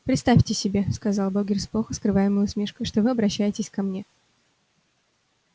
представьте себе сказал богерт с плохо скрываемой усмешкой что вы обращаетесь ко мне